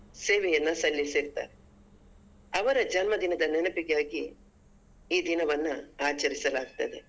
ಸೇವೆಯನ್ನ ಸಲ್ಲಿಸಿರ್ತಾರೆ ಅವರ ಜನ್ಮ ದಿನದ ನೆನಪಿಗಾಗಿ ಈ ದಿನವನ್ನ ಆಚರಿಸಲಾಗ್ತದೆ.